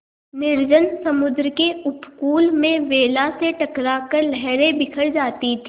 निर्जन समुद्र के उपकूल में वेला से टकरा कर लहरें बिखर जाती थीं